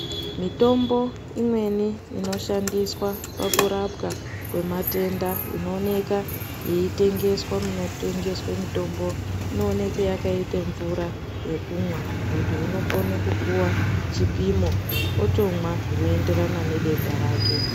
Mitombo imweni inoshandiswa pakurapwa kwematenda inoonekwa yeitengeswa munotengeswa mitombo inoonekwa yakaita mvura yekumwa muntu unokona kupuwa chipimo otomwa zvinoenderana nedenda rake.